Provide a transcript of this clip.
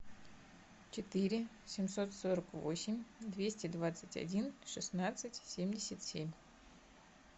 четыре семьсот сорок восемь двести двадцать один шестнадцать семьдесят семь